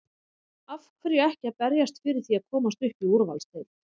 Af hverju ekki að berjast fyrir því að komast upp í úrvalsdeild?